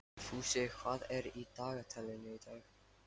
Fúsi, hvað er í dagatalinu í dag?